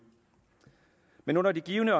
men under de givne